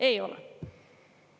Ei ole.